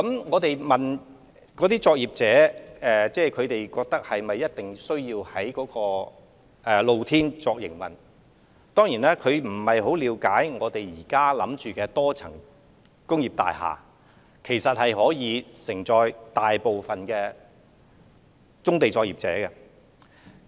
我們曾詢問有關的棕地作業者，是否一定需要在露天場地營運，他們可能不太了解現時構思中的多層工業大廈，其實足可承載大部分棕地作業者的營運。